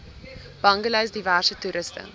bungalows diverse toerusting